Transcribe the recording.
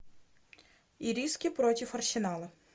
ириски против арсенала